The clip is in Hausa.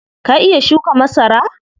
Ka iya shuka masara?